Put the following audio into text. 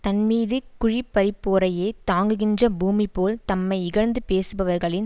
தன்மீது குழி பறிப்போரையே தாங்குகின்ற பூமி போல் தம்மை இகழ்ந்து பேசுகிறவர்களின்